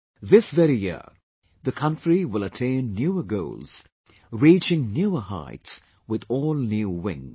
This very year the country will attain newer goals, reaching newer heights with all new wings